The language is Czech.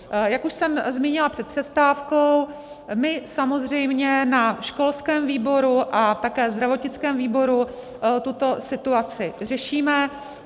Jak už jsem zmínila před přestávkou, my samozřejmě na školském výboru a také zdravotnickém výboru tuto situaci řešíme.